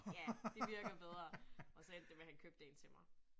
Ja, det virker bedre. Og så endte det med, han købte 1 til mig